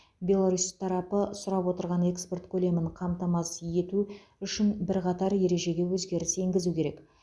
беларусь тарапы сұрап отырған экспорт көлемін қамтамасыз ету үшін бірқатар ережеге өзгеріс енгізу керек